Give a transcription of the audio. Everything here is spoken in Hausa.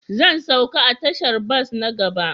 Zan sauka a tashar bas na gaba